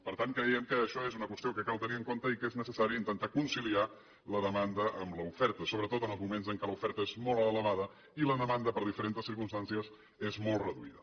per tant creiem que això és una qüestió que cal tenir en compte i que és necessari intentar conciliar la demanda amb l’oferta sobretot en els moments en què l’oferta és molt elevada i la demanda per diferents circumstàncies és molt reduïda